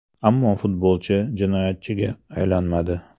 Ammo futbolchi jinoyatchiga aylanmadi.